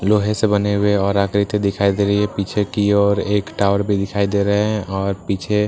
लोहे से बने हुए और आकृति दिखाई दे रही है पीछे की ओर एक टावर भी दिखाई दे रहा है और पीछे --